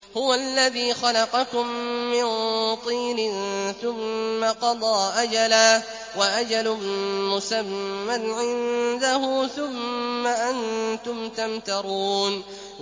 هُوَ الَّذِي خَلَقَكُم مِّن طِينٍ ثُمَّ قَضَىٰ أَجَلًا ۖ وَأَجَلٌ مُّسَمًّى عِندَهُ ۖ ثُمَّ أَنتُمْ تَمْتَرُونَ